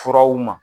Furaw ma